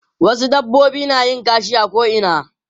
Wasu dabbobi na yin kashi a ko'ina.